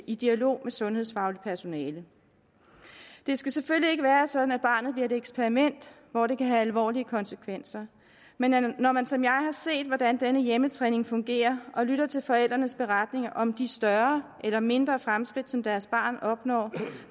i dialog med sundhedsfagligt personale det skal selvfølgelig ikke være sådan at barnet bliver et eksperiment hvor det kan have alvorlige konsekvenser men når man som jeg har set hvordan denne hjemmetræning fungerer og lytter til forældrenes beretninger om de større eller mindre fremskridt som deres barn opnår